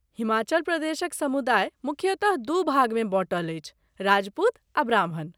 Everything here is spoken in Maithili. हिमाचल प्रदेशक समुदाय मुख्यतः दू भागमे बँटल अछि, राजपूत आ ब्राह्मण।